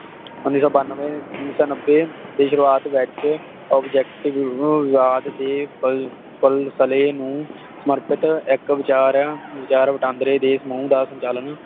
ਉੱਨੀ ਸੌ ਬਾਨਵੇ ਉੱਨੀ ਸੌ ਨੱਬੇ ਦੀ ਸ਼ੁਰੂਆਤ ਵਿਚ ਓਬਜੇਕ੍ਟ ਵੀ ਵਿਵਾਦ ਦੇ ਫਲ ਫਲਸਲੇ ਨੂੰ ਮਰਕਟ ਇਕ ਵਿਚਾਰਿਆ ਵਿਚਾਰ ਵਟਾਂਦਰੇ ਦੇਸ਼ ਨੂੰ ਦਾ ਸੰਚਾਲਨ